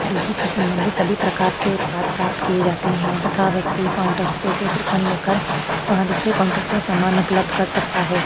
और घी से संबंधित सभी प्रकार के उत्पाद प्रापत किये जाते है तथा व्यक्ति काउंटरस पे से टोकन लेकर वहा दुसरे काउंटर से सामान उपलब्ध कर सकता है।